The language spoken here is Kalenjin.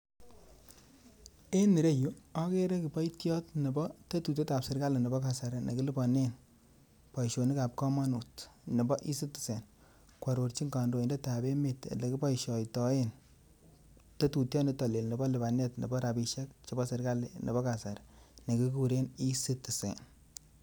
En ireyu agere kiboitiot nebo tetutiekab serkali nekilibanen boisionikab kamanut nebo e-citizen kwarorjin kandoindetab emet lekiboishaitaen tetutiek nito Lel nebo lipanet nebo kasarii nekiguren e-citizen.